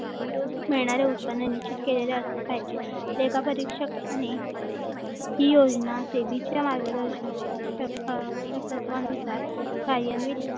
मिळणारे उत्पन्न निश्चित केलेले असले पाहिजे लेखा परीक्षक आणि ही योजना सेवेच्या मार्गदर्शक तत्वानुसार नियमित